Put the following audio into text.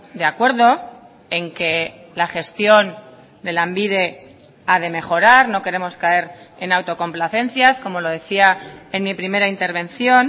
de acuerdo en que la gestión de lanbide ha de mejorar no queremos caer en autocomplacencias como lo decía en mi primera intervención